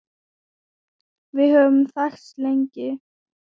Við höfum þekkst lengi